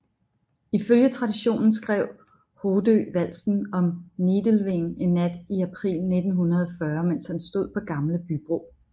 Ifølge traditionen skrev Hoddø valsen om Nidelven en nat i april 1940 mens han stod på Gamle Bybro